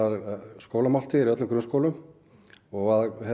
skólamáltíðir í öllum grunnskólum og að